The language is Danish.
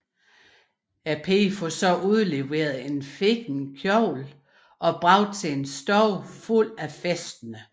Pigen får så udleveret en fin kjole og bragt til en stue fuld af festende